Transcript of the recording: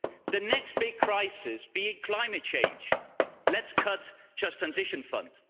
The next big crisis being climate change let's cut the Just Transition Fund.